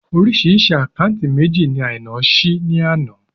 Orísìí àkáúntì méjì ni Àìná ṣí ní àná